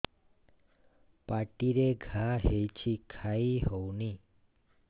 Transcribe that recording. ପାଟିରେ ଘା ହେଇଛି ଖାଇ ହଉନି